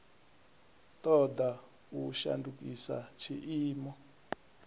ṱo ḓa u shandukisa tshiimo